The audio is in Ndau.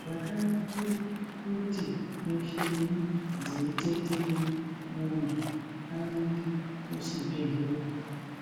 Zvakanakira kuti mishuna dzeitetena muntu aende kuchibhedhlera,